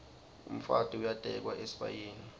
umfati uyatekwa esibayeni